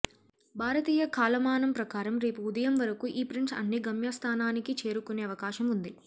భారతీయ కాలమానం ప్రకారం రేపు ఉదయం వరకు ఈ ప్రింట్స్ అన్ని గమ్య స్థానానికి చేరుకునే అవకాశం ఉంది